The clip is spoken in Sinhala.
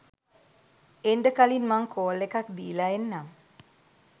එන්ඩ කලින් මං කෝල් එකක් දීලා එන්නම්